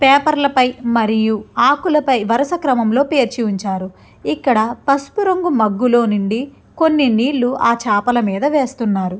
పేపర ల పై మరియు ఆకులపై వరుస క్రమంలో పేర్చి ఉంచారు ఇక్కడ పసుపు రంగు మగ్గులో నుండి కొన్ని నీళ్లు ఆ చేపల మీద వేస్తున్నారు.